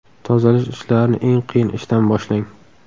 Tozalash ishlarini eng qiyin ishdan boshlang.